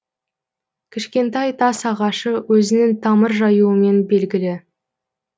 кішкентай тас ағашы өзінің тамыр жаюымен белгілі